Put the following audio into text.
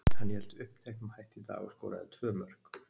Hann hélt uppteknum hætti í dag og skoraði tvö mörk.